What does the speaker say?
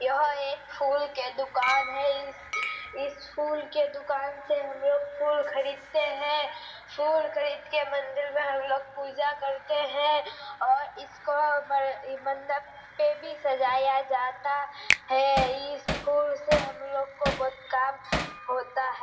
यह एक फूल के दुकान है। इस इस फूल के दुकान से हमलोग फूल खरीदते हैं। फूल खरीद के मंदिर में हमलोग पूजा करते हैं और इसको मन मन्नत पे भी सजाया जाता है। इस फूल से हम लोग को बहुत काम होता है।